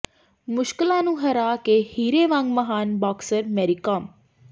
ਮੁਸ਼ਕਲਾਂ ਨੂੰ ਹਰਾ ਕੇ ਹੀਰੇ ਵਾਂਗ ਮਹਾਨ ਬਾਕਸਰ ਮੈਰੀਕਾਮ